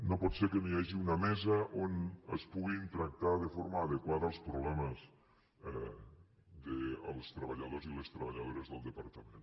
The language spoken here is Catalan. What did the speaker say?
no pot ser que no hi hagi una mesa on es puguin tractar de forma adequada els problemes dels treballadors i les treballadores del departament